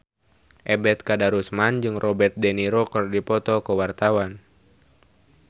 Ebet Kadarusman jeung Robert de Niro keur dipoto ku wartawan